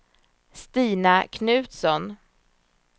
Stina Knutsson